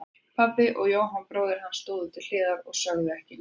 Pabbi og Jóhann bróðir hans stóðu til hliðar og sögðu ekki neitt.